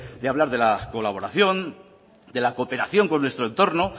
de hablar de la colaboración de la cooperación con nuestro entorno